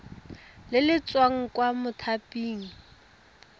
le le tswang kwa mothaping